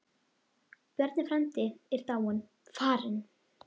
Bjarni frændi er dáinn, farinn.